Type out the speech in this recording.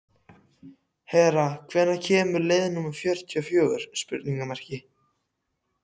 Hera, hvenær kemur leið númer fjörutíu og fjögur?